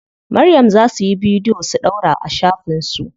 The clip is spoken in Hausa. Maryam za suyi bidiyo su ɗaura a shafin su.